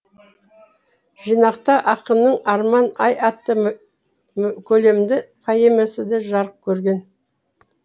жинақта ақынның арман ай атты көлемді поэмасы да жарық көрген